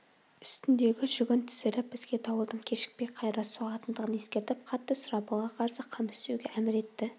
үстіндегі жүгін түсіріп бізге дауылдың кешікпей қайыра соғатындығын ескертіп қатты сұрапылға қарсы қам істеуге әмір етті